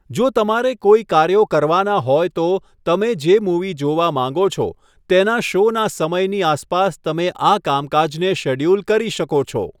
જો તમારે કોઈ કાર્યો કરવાના હોય તો, તમે જે મૂવી જોવા માંગો છો તેના શોના સમયની આસપાસ તમે આ કામકાજને શેડ્યૂલ કરી શકો છો.